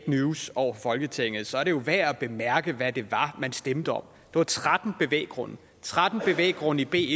news over for folketinget så er det jo værd at bemærke hvad det var man stemte om var tretten bevæggrunde tretten bevæggrunde i b